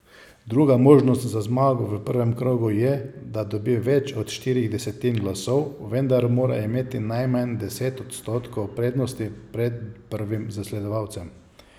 Druga možnost za zmago v prvem krogu je, da dobi več od štirih desetin glasov, vendar mora imeti najmanj deset odstotkov prednosti pred prvim zasledovalcem.